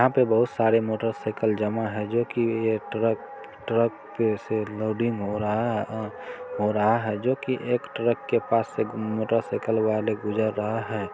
यहाँ पे बहुत सारे मोटर साइकिल जमा है जो कि एक ट्रक ट्रक पे से लोडिंग हो रहा हैजो कि एक ट्रक के पास से मोटरसाइकिल वाले गुजर रहा है।